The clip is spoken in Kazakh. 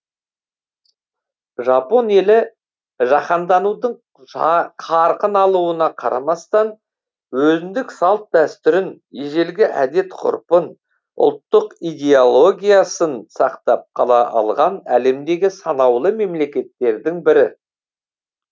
жапон елі жаһанданудың қарқын алуына қарамастан өзіндік салт дәстүрін ежелгі әдеп ғұрпын ұлттық идеологиясын сақтап қала алған әлемдегі санаулы мемлекеттердің бірі